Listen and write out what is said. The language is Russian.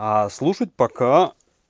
а слушать пока